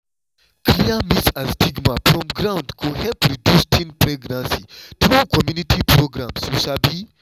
clear myth and stigma from ground go help reduce teen pregnancy through community programs you sabi?